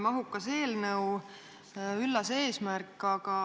Mahukas eelnõu, üllas eesmärk!